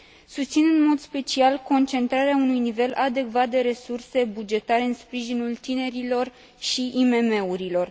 Susțin în mod special concentrarea unui nivel adecvat de resurse bugetare în sprijinul tinerilor și IMM urilor.